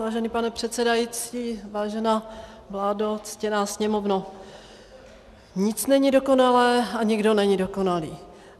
Vážený pane předsedající, vážená vládo, ctěná sněmovno, nic není dokonalé a nikdo není dokonalý.